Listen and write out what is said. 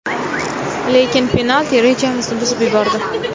Lekin penalti rejamizni buzib yubordi.